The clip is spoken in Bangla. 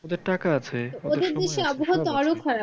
ওদের টাকা আছে